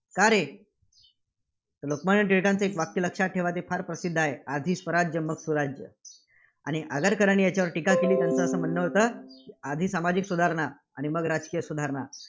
का रे? लोकमान्य टिळकांचे एक वाक्य लक्षात ठेवा. ते फार प्रसिद्ध आहे. आधी स्वराज्य मग सुराज्य. आणि आगरकरांनी याच्यावर टीका केली. त्यांचे असं म्हणणं होतं, आधी सामाजिक सुधारणा आणि मग राजकीय सुधारणा.